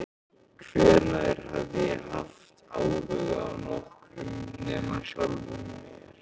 Hvenær hafði ég haft áhuga á nokkrum nema sjálfum mér?